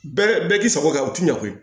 Bɛɛ bɛɛ bɛ k'i sago kɛ u tɛ ɲɛ koyi